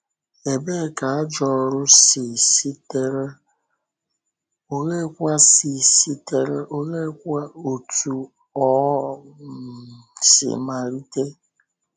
Ebee ka “ajọ ọ́rụ” si sitere, oleekwa si sitere, oleekwa otú o um si malite?